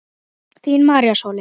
Þín María Sóley.